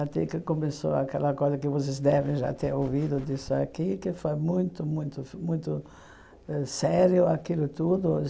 Até que começou aquela coisa que vocês devem já ter ouvido disso aqui, que foi muito, muito, muito sério aquilo tudo.